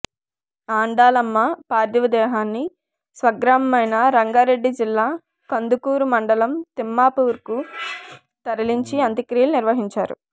ఆండాలమ్మ పార్థివదేహాన్ని స్వగ్రామమైన రంగారెడ్డి జిల్లా కందుకూరు మండలం తిమ్మాపూర్కు తరలించి అంత్యక్రియలు నిర్వహించారు